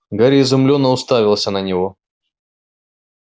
гарри изумлённо уставился на него